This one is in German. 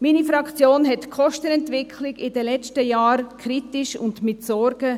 Meine Fraktion beobachtete die Kostenentwicklung in den letzten Jahren kritisch und mit Sorge.